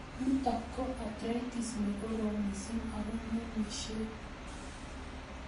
Nitok ko arthritis ne korom mising' ako ng'emishei